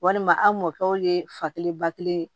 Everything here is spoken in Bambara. Walima a mɔkɛw ye fa kelen ba kelen